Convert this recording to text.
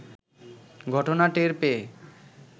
ঘটনা টের পেয়ে